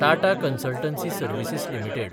Tata consultancy services limited